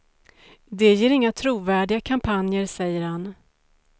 Det ger inga trovärdiga kampanjer, säger han.